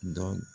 Dɔ